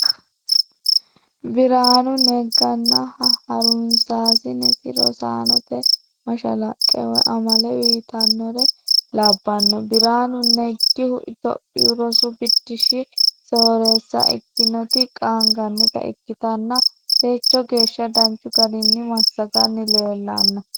Qqbiraanu neganna harunsasinesi rosaanote mashalaqqe woyi amale uyitanore labanno, biranu nagihu tophiyuu rosu biddishi sooreessa ikkinoti qaanganitta ikkittanna techo geesha danchu garini masaganni lellano